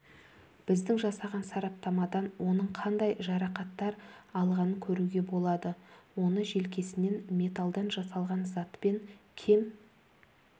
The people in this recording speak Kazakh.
біздің жасаған сараптамадан оның қандай жарақаттар алғанын көруге болады оны желкесінен металдан жасалған затпен кем